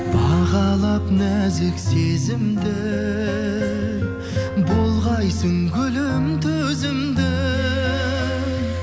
бағалап нәзік сезімді ей болғайсың гүлім төзімді ей